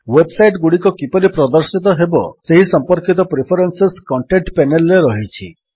web site ଗୁଡ଼ିକ କିପରି ପ୍ରଦର୍ଶିତ ହେବେ ସେହି ସମ୍ପର୍କିତ ପ୍ରିଫରେନ୍ସେସ୍ କଣ୍ଟେଣ୍ଟ ପେନେଲ୍ ରେ ରହିଛି